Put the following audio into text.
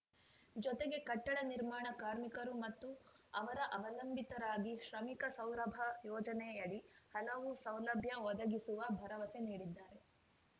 ಜೊತೆಗೆ ಕಟ್ಟಡ ನಿರ್ಮಾಣ ಕಾರ್ಮಿಕರು ಮತ್ತು ಅವರ ಅವಲಂಬಿತರಿಗಾಗಿ ಶ್ರಮಿಕ ಸೌರಭ ಯೋಜನೆಯಡಿ ಹಲವು ಸೌಲಭ್ಯ ಒದಗಿಸುವ ಭರವಸೆ ನೀಡಿದ್ದಾರೆ